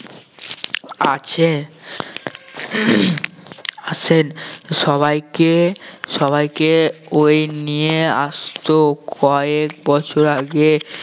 আছে আসেন সবাইকে সবাইকে ওই নিয়ে আসতো কয়েক বছর আগে